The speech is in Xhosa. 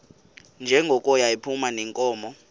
njengoko yayiphuma neenkomo